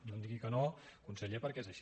no em digui que no conseller perquè és així